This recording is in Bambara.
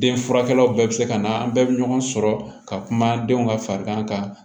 Den furakɛlaw bɛɛ bɛ se ka na an bɛɛ bɛ ɲɔgɔn sɔrɔ ka kuma denw ka farigan kan